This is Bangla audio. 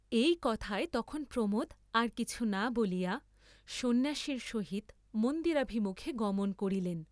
এই কথায় তখন প্রমোদ আর কিছু না বলিয়া সন্ন্যাসীর সহিত মন্দিরাভিমুখে গমন করিলেন।